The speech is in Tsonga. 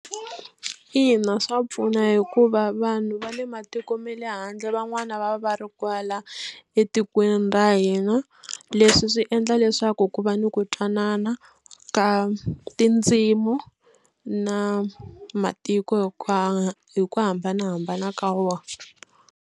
Ina swa pfuna hikuva vanhu va le matiko ma le handle van'wani va va ri kwala etikweni ra hina leswi swi endla leswaku ku va ni ku twanana ka tindzimu na matiko ka hi ku hambanahambana ka wona.